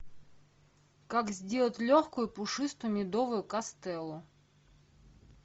как сделать легкую пушистую медовую кастеллу